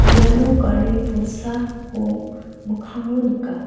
iano gari bolsako mikango nika.